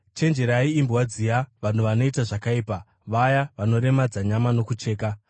Chenjererai imbwa dziya, vanhu vanoita zvakaipa, vaya vanoremadza nyama nokucheka.